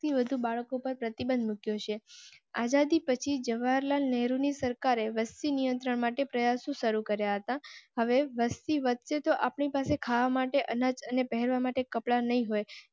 એકથી વધુ બાળકો પર પ્રતિબંધ મુક્યો છે. આઝાદી પછી જવાહરલાલ નેહરુ ની સરકારે વસતી નિયંત્રણ માટે પ્રયાસો શરૂ કર્યા હતા. હવે વસ્તી વચ્ચે તો અપ ની પાસે ખાવા માટે અનાજ અને પહેરવા માટે કપડાં નહીં હોય